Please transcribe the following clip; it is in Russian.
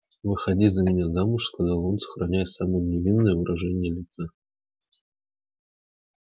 выходи за меня замуж сказал он сохраняя самое невинное выражение лица